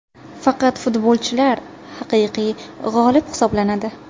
Faqat futbolchilar haqiqiy g‘olib hisoblanadi”.